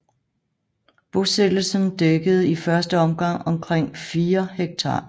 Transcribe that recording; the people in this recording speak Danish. Bosættelsen dækkede i første omgang omkring 4 ha